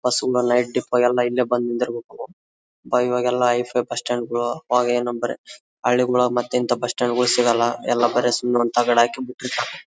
Head ಇಪ್ಪಗ ಎಲ್ಲ ಬಂದ್ ನಿಂದಿರ್ಬೇಕು ಇವಾಗೆಲ್ಲ ಹೈಫ್ಯ್ ಬಸ್ಸ್ಟ್ಯಾಂಡ್ ಗಳು ಅವಾಗ ಏನಂದ್ರೆ ಮತ್ ಇಂತ ಬುಸ್ಸ್ಟ್ಯಾಂಡ್ಗಳು ಸಿಗೋಲ್ಲ ಎಲ್ಲ ಬರೆ ಅಕಂಡಿರ್ತವೆ.